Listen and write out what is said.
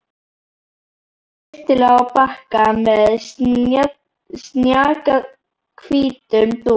Raðaði öllu snyrtilega á bakka með snjakahvítum dúk.